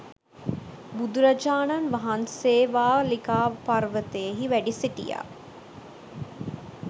බුදුරජාණන් වහන්සේවාලිකා පර්වතයෙහි වැඩසිටියා